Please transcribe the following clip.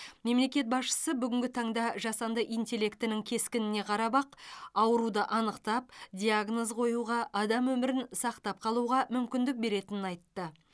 мемлекет басшысы бүгінгі таңда жасанды интеллектінің кескініне қарап ақ ауруды анықтап диагноз қоюға адам өмірін сақтап қалуға мүмкіндік беретінін айтты